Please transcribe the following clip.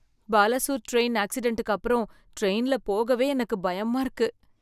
Balasore train ஆக்சிடன்டுக்கு அப்புறம் ட்ரெயின்ல போகவே எனக்கு பயமா இருக்கு.